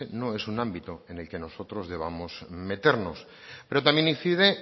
no es un ámbito en el que nosotros debamos meternos pero también incide